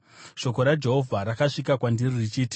Shoko raJehovha rakasvika kwandiri richiti: